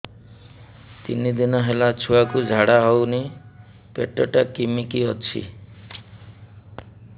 ତିନି ଦିନ ହେଲା ଛୁଆକୁ ଝାଡ଼ା ହଉନି ପେଟ ଟା କିମି କି ଅଛି